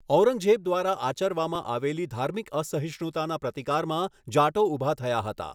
ઔરંગઝેબ દ્વારા આચરવામાં આવેલી ધાર્મિક અસહિષ્ણુતાના પ્રતિકારમાં જાટો ઊભા થયા હતા.